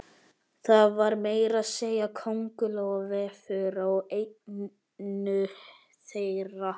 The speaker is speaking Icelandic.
Það var meira að segja kóngulóarvefur á einu þeirra.